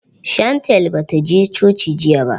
Shantel ba ta je coci jiya ba.